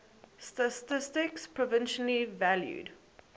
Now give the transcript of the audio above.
statistics provisionally valued